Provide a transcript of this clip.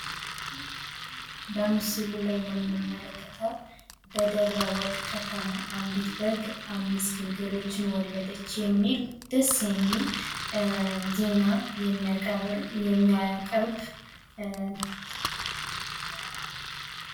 በምስሉ ላይ የምንመለከተው በደብረ-ወርቅ ከተማ አንዲት በግ አምስት ግልገሎችን ወለደች የሚል ደስ የሚል ዜና የሚያቀርብ ሰው ነው።